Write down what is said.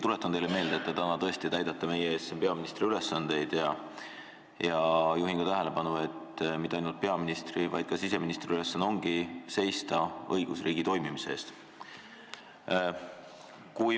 Tuletan teile siiski meelde, et te täidate täna siin meie ees tõesti peaministri ülesandeid, ja juhin ka tähelepanu, et mitte ainult peaministri, vaid ka siseministri ülesanne ongi seista õigusriigi toimimise eest.